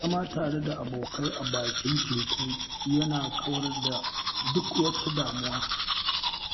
Zama tare da abokai a bakin teku yana kawar da duk wata damuwa